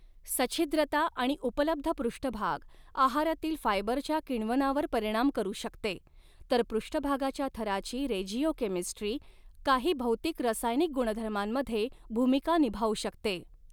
सछिद्रता आणि उपलब्ध पृष्ठभाग आहारातील फायबरच्या किण्वनावर परिणाम करू शकते तर पृष्ठभागाच्या थराची रेजिओकेमिस्ट्री काही भौतिक रसायनिक गुणधर्मांमध्ये भूमिका निभावू शकते.